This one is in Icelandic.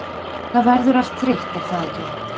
það verður allt þreytt er það ekki?